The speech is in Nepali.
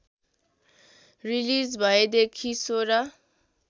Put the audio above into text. रिलिज भएदेखि १६